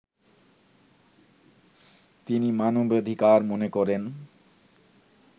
তিনি মানবাধিকার মনে করেন